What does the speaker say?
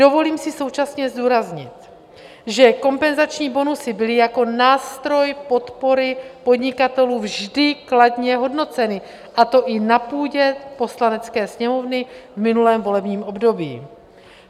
Dovolím si současně zdůraznit, že kompenzační bonusy byly jako nástroj podpory podnikatelů vždy kladně hodnoceny, a to i na půdě Poslanecké sněmovny v minulém volebním období.